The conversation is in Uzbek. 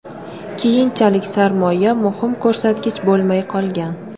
Keyinchalik sarmoya muhim ko‘rsatkich bo‘lmay qolgan.